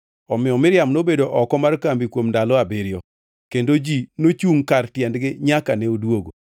Omiyo Miriam nobedo oko mar kambi kuom ndalo abiriyo, kendo ji nochungʼ kar tiendgi nyaka ne odwogo.